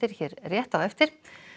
hér rétt á eftir